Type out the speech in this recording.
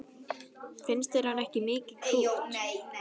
Finnst þér hann ekki mikið krútt?